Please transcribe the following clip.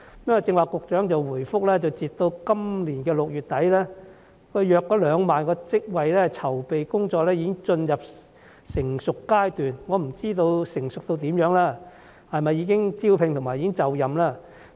局長剛才答覆時表示，截至今年6月底，大約2萬個職位的籌備工作已經進入成熟階段，我不知道成熟程度如何，是否已經進行招聘或受聘人士已經就任？